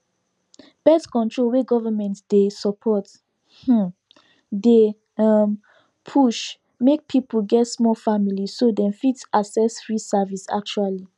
birth control wey government dey support um dey um push make people get small family so them fit access free service actually